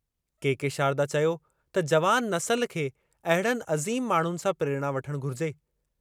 के के शारदा चयो त जवान नसुल खे अहिड़नि अज़ीम माण्हुनि सां प्रेरणा वठणु घुरिजे।